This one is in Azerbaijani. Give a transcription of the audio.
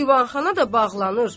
Divanxana da bağlanır.